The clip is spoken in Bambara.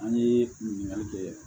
An ye ɲininkali kɛɛ